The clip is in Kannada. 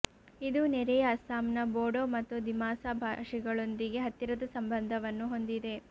ಇದು ನೆರೆಯ ಅಸ್ಸಾಂನ ಬೋಡೋ ಮತ್ತು ದಿಮಾಸಾ ಭಾಷೆಗಳೊಂದಿಗೆ ಹತ್ತಿರದ ಸಂಬಂಧವನ್ನು ಹೊಂದಿದೆ